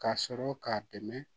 K'a sɔrɔ k'a dɛmɛ